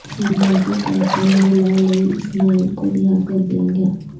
سماجی کارکن گلالئی اسماعیل کو رہا کر دیا گیا